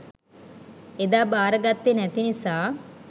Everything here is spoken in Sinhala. එදා බාරගත්තේ නැති නිසා